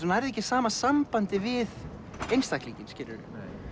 nærð ekki sama sambandi við einstaklinginn skilurðu